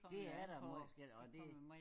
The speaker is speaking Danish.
Det er da meget forskelligt og det